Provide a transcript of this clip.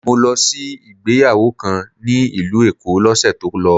Mo lọ sí ìgbéyàwó kan ní ìlú Èkó l'ósè tó lọ